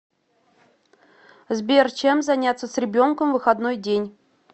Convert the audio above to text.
сбер чем заняться с ребенком в выходной день